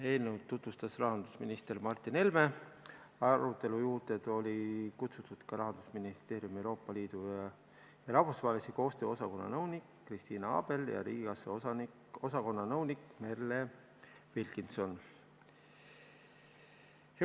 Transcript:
Eelnõu tutvustas rahandusminister Martin Helme, arutelu juurde olid kutsutud ka Rahandusministeeriumi Euroopa Liidu ja rahvusvahelise koostöö osakonna nõunik Kristiina Abel ja riigikassa osakonna nõunik Merle Wilkinson.